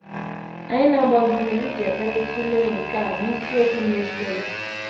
Anyị na - agba gị ume iji ekpere tụlee nke a n’isiokwu na - esonụ.